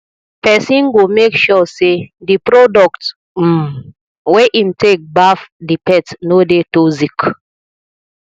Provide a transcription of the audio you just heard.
person go make sure sey di product um wey im take dey baff di pet no dey toxic